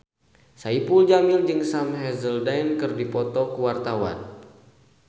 Saipul Jamil jeung Sam Hazeldine keur dipoto ku wartawan